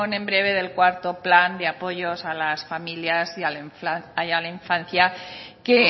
en breve del cuarto plan de apoyo a las familias y a la infancia que